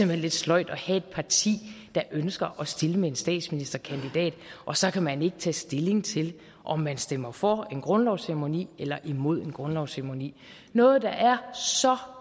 hen lidt sløjt at have et parti der ønsker at stille med en statsministerkandidat og så kan man ikke tage stilling til om man stemmer for en grundlovsceremoni eller imod en grundlovsceremoni noget der er så